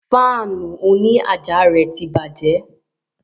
Fáànù òní àjà rẹ̀ tí bàjẹ́